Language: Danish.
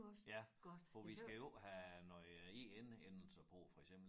Ja for vi skal jo ikke have noget E N endelse på for eksempel